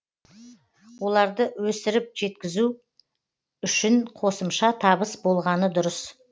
оларды өсіріп жеткізу үшін қосымша табыс болғаны дұрыс